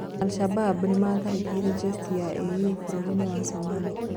Al - Sadad nimatharĩkĩirĩ jeci ya AU bũrũrinĩ wa Somalia